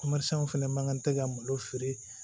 fɛnɛ man kan tɛ ka malo feere